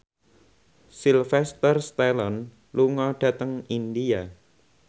Sylvester Stallone lunga dhateng India